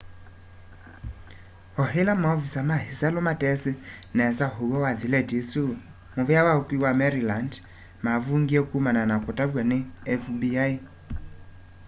o ila maovisaa ma isalu matesi nesa uw'o wa thileti isu muvea wa ukui wa maryland mavungie kumana na kutavya ni fbi